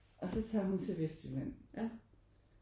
Og så tager hun til Vestjylland